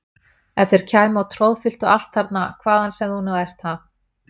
Ef þeir kæmu og troðfylltu allt þarna hvaðan sem þú nú ert, ha!